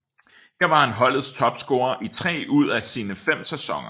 Her var han holdets topscorer i tre ud af sine fem sæsoner